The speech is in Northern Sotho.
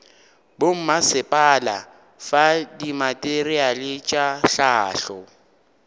bommasepala fa dimateriale tša hlahlo